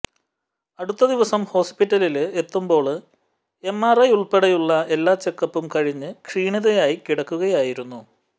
അടുത്ത ദിവസം ഹോസ്പിറ്റലില് എത്തുമ്പോള് എം ആര് ഐ ഉള്പ്പെടെയുള്ള എല്ലാ ചെക്കപ്പും കഴിഞ്ഞ് ക്ഷീണിതയായി കിടക്കുകയായിരുന്നു